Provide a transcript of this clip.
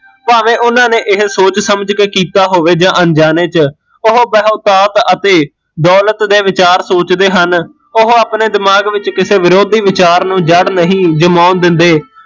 ਭਾਂਵੇ ਉਹਨਾਂ ਨੇ ਇਹ ਸੋਚ ਸਮਜ ਕੇ ਕੀਤਾ ਹੋਵੇ ਜਾਂ ਅਣਜਾਣੇ ਚ ਓਹ ਬਹੁਤਾਤ ਅਤੇ ਦੋਲਤ ਦੇ ਵਿਚਾਰ ਸੋਚਦੇ ਹਨ ਉਹ ਆਪਣੇ ਦਿਮਾਗ ਵਿੱਚ ਕਿਸੇ ਵਿਰੋਧੀ ਵਿਚਾਰ ਨੂ ਜੜ ਨਹੀਂ ਜਮਾਉਣ ਦਿੰਦੇ